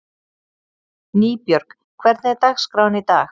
Nýbjörg, hvernig er dagskráin í dag?